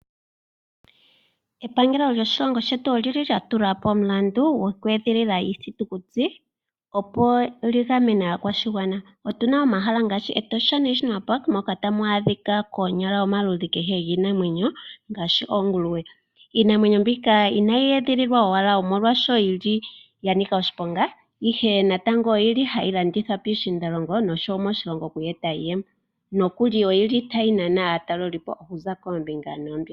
Epangelo lyoshilongo shetu olili lya tulapo omulandu gokweedhilila iithitukuti opo li gamene aakwashigwana. Otuna omahala ngaashi Etosha National Park moka tamu adhika konyala omaludhi kehe giinamwenyo ngaashi oonguluwe. Iinamwenyo mbika inayi edhililwa owala omolwaashoka ya nika oshiponga ihe natango oyili hayi landithwa pishiindalongo noshowo moshilongo oku eta iiyemo nokuli oyili tayi nana aatalelipo okuza koombinga noombinga.